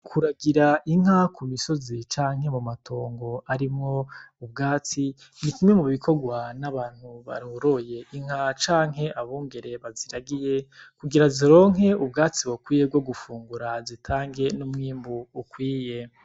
Kuragira inka ku misoszi canke mu matongo arimwo ubwatsi nikimwe mu bikogwa n'abantu baroroye inka canke abungere baziragiye kugira zironke ubwatsi bukwiye bwo gufungura zitange n'umwimbu ukwiye.